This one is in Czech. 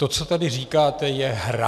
To, co tady říkáte, je hra.